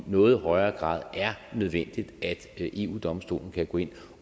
noget højere grad er nødvendigt at eu domstolen kan gå ind